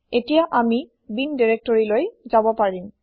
এতিয়া আমি বিন দিৰেক্তৰিলৈ যাব পাৰিম